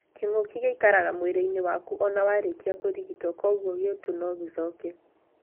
Kĩngũki gĩikaraga mwĩrĩinĩ waku ona warĩkia kũrigito koguo gĩũtũ no gĩcoke.